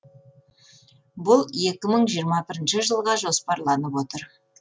бұл екі мың жиырма бірінші жылға жоспарланып отыр